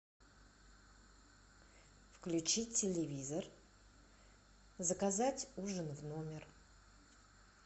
включить телевизор заказать ужин в номер